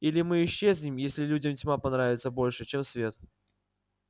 или мы исчезнем если людям тьма понравится больше чем свет